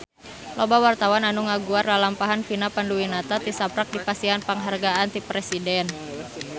Loba wartawan anu ngaguar lalampahan Vina Panduwinata tisaprak dipasihan panghargaan ti Presiden